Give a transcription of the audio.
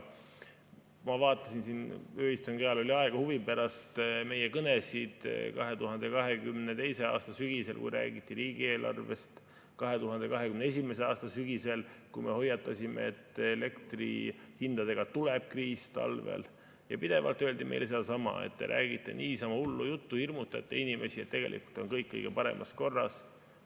Ma vaatasin siin – ööistungi ajal oli aega – huvi pärast meie kõnesid 2022. aasta sügisel, kui räägiti riigieelarvest, 2021. aasta sügisel, kui me hoiatasime, et elektrihindadega tuleb talvel kriis, ja pidevalt öeldi meile sedasama, et me räägime niisama hullu juttu, hirmutame inimesi, aga tegelikult on kõik kõige paremas korras.